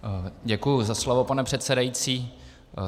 Děkuji za slovo, pane předsedající.